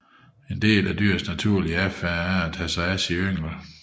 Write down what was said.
En del af dyrs naturlige adfærd er at tage sig af yngel